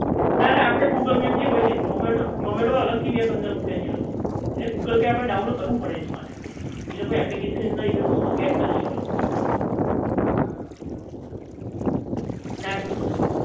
નાના આપણે google map જે હોય છે zomato zomato વાળા એટલે google પર થી આપડે download કરવું પડે એની માટે એ લોકો એ application ની અંદર એ લોકો એ વસ્તુ સેટ કરેલી હોય